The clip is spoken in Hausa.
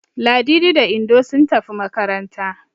Ladidi da Indo sun tafi makaranta.